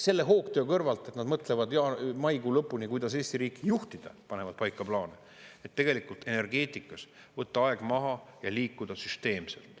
Selle hoogtöö kõrvalt, et nad mõtlevad ja maikuu lõpuni, kuidas Eesti riiki juhtida, panevad paika plaane, tegelikult energeetikas võtta aeg maha ja liikuda süsteemselt.